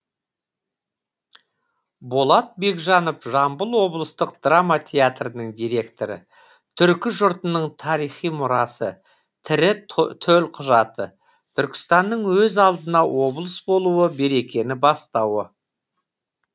болат бекжанов жамбыл облыстық драма театрдың директоры түркі жұртының тарихи мұрасы тірі төлқұжаты түркістанның өз алдына облыс болуы берекені бастауы